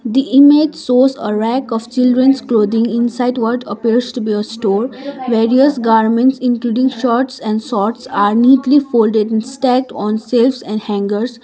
the image shows a rack of children's clothing inside what appears to be a store various garments including shorts and sorts are neatly folded and stacked on shelves and hangers.